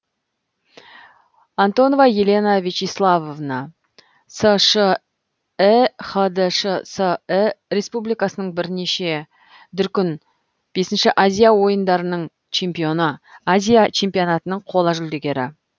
антонова елена вячеславовна сш і хдшс і республикасының бірнеше дүркін бесінші азия ойындарының чемпионы азия чемпионатының қола жүлдегері